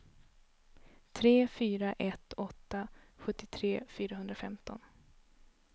tre fyra ett åtta sjuttiotre fyrahundrafemton